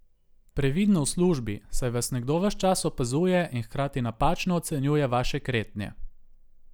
Previdno v službi, saj vas nekdo ves čas opazuje in hkrati napačno ocenjuje vaše kretnje.